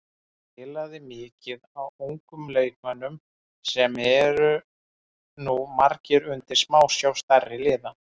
Hann spilaði mikið á ungum leikmönnum sem eru nú margir undir smásjá stærri liða.